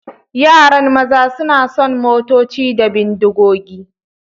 Yaran maza suna son motoci da bindigogi.